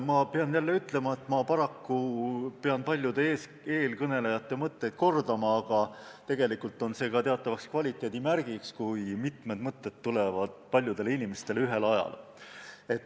Ma pean jälle ütlema, et pean paraku paljude eelkõnelejate mõtteid kordama, ehkki tegelikult on see teatav kvaliteedimärk, kui mitmed mõtted tulevad paljudele inimestele pähe ühel ajal.